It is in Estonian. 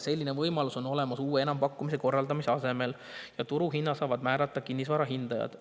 Selline võimalus on olemas uue enampakkumise korraldamise asemel ja turuhinna saavad määrata kinnisvarahindajad.